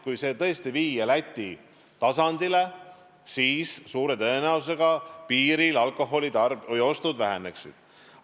Kui see tõesti viia Läti tasemele, siis suure tõenäosusega piiril alkoholiostud väheneksid.